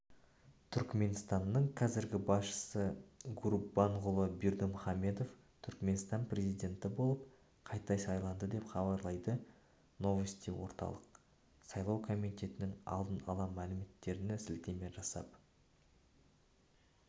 түрікменстанның қазіргі басшысы гурбанғұлы бердімұхамедов түрікменстан президенті болып қайта сайланды деп хабарлайды новостиорталық сайлау комитетінің алдын ала мәліметтеріне сілтеме жасап